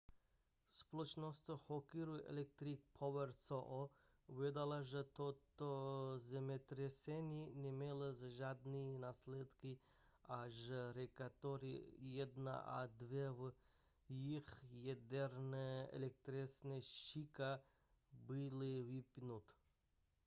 společnost hokuriku electric power co uvedla že toto zemětřesení nemělo žádné následky a že reaktory 1 a 2 v jejich jaderné elektrárně shika byly vypnuty